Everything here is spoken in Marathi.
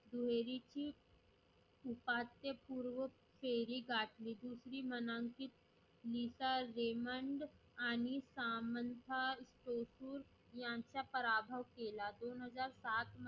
दुहेरीची उपात्य पूर्व फेरी गाठली. दुसरी म्हणानकीक नीता हेमंत आणि सामंन्ता हेतुर यांचा प्रभाव केला. दोन हजार सात